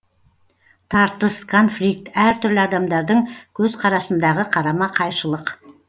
тартыс конфликт әр түрлі адамдардың көзқарасындағы қарама қайшылық